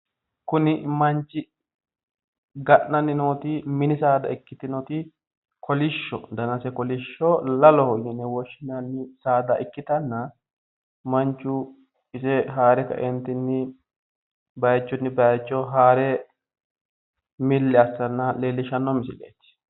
Kuni manchi ga'nanni nooti mini saada ikkitinoti koliissho danase kolishsho lalloho yine woshshinanni saada ikkitanna manchu ise haare kae baayichunni baayicho haare milli assanna leellishshanno misileeti